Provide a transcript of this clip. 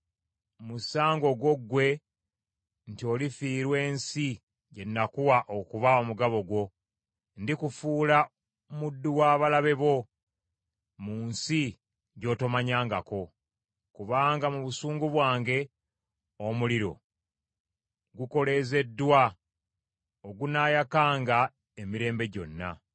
Musango gwo ggwe nti olifiirwa ensi gye nakuwa okuba omugabo gwo, ndikufuula muddu wa balabe bo mu nsi gy’otomanyangako, kubanga mu busungu bwange omuliro gukoleezeddwa ogunaayakanga emirembe gyonna.”